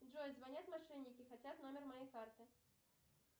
джой звонят мошенники хотят номер моей карты